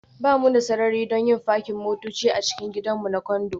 Ba mu da sarari don yin fakin motoci a cikin gidan namu na Condo